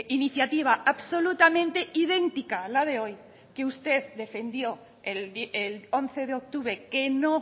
iniciativa absolutamente idéntica a la de hoy que usted defendió el once de octubre que no